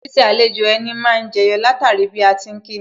Ṣiṣẹ́ àlejò ẹni má ni jẹyọ látara bí a ti ń kíni